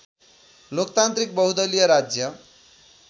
लोकतान्त्रिक बहुदलिय राज्य